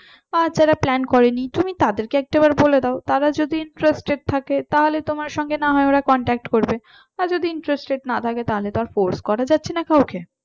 আর যারা plan করেনি তুমি তাদেরকে একটাবার বলে দাও তারা যদি interested থাকে তাহলে তোমার সঙ্গে না হয় ওরা contact করবে আর যদি interested না থাকে তাহলে তো আর force করা যাচ্ছে না কাউকে